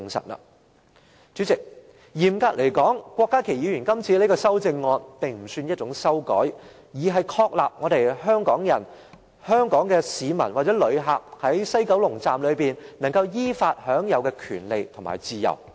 代理主席，嚴格而言，郭家麒議員的修正案並不算是一項修改，而是確立香港市民或旅客在西九龍站依法享有的權利和自由。